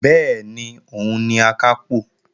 Bẹ́ẹ̀ni, òun ni Akápò